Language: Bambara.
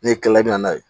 N'e kila la i bɛ na n'a ye